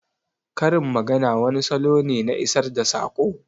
Karin magana wani salo ne na isar da saƙo